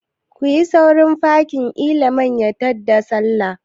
Kuyi sauri kafin liman ya ta da Sallah!